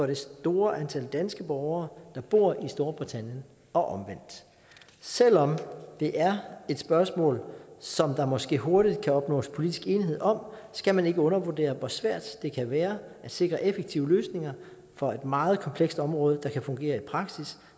det store antal danske borgere der bor i storbritannien og omvendt selv om det er et spørgsmål som der måske hurtigt kan opnås politisk enighed om skal man ikke undervurdere hvor svært det kan være at sikre effektive løsninger for et meget kompleks område der kan fungere i praksis